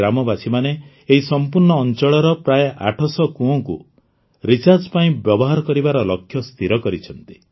ଗ୍ରାମବାସୀମାନେ ଏହି ସମ୍ପୂର୍ଣ୍ଣ ଅଂଚଳର ପ୍ରାୟଃ ୮୦୦ କୁଅଁକୁ ରିଚାର୍ଜ ପାଇଁ ବ୍ୟବହାର କରିବାର ଲକ୍ଷ୍ୟ ସ୍ଥିର କରିଛନ୍ତି